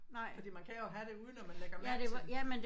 Fordi man kan jo have det uden at man lægger mærke til det